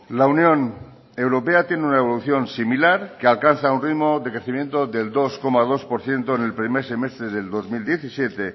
la unión europea tiene una evolución similar que alcanza un ritmo de crecimiento del dos coma dos por ciento en el primer semestre del dos mil diecisiete